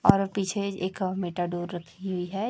और पीछे एक रखी हुई है।